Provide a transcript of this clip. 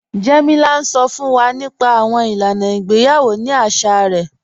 Jẹ́mílà ǹ sọ́ fún wà nípa àwọn ilànà ìgbèyawọ̀ ní àṣà rẹ̀